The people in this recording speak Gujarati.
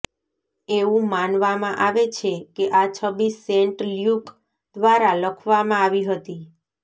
એવું માનવામાં આવે છે કે આ છબી સેન્ટ લ્યુક દ્વારા લખવામાં આવી હતી